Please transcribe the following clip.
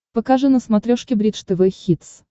покажи на смотрешке бридж тв хитс